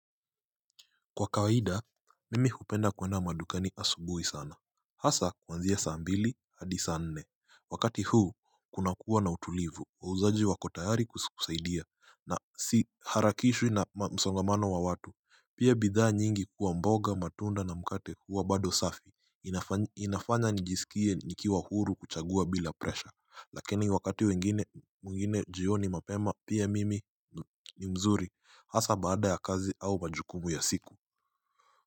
Kwa kawaida, mimi hupenda kwenda madukani asubuhi sana. Hasa kuanzia saa mbili, hadi saa nne. Wakati huu, kuna kuwa na utulivu, wauzaji wako tayari kukusaidia. Na siharakishwi na msongamano wa watu. Pia bidhaa nyingi kuwa mboga matunda na mkate huwa bado safi inafanya inafanya nijisikie nikiwa huru kuchagua bila presha. Lakini wakati mwingine jioni mapema, pia mimi ni mzuri. Hasa baada ya kazi au majukumu ya siku.